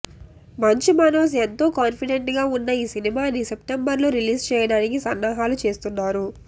మంచు మనోజ్ ఎంతో కాన్ఫిడెంట్ గా ఉన్న ఈ సినిమాని సెప్టెంబర్ లో రిలీజ్ చేయడానికి సన్నాహాలు చేస్తున్నారు